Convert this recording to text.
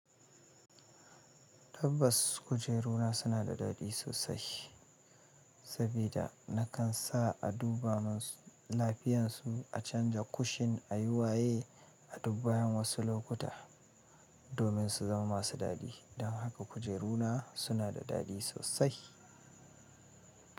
Tabbas, kujeruna suna da daɗi sosai sabida na kan sa a duba mansu-lafiyansu, a canza kushin, a yi waye a dub bayan wasu lokuta domin su zama masu daɗi. Dan haka kujeruna suna da daɗi sosai.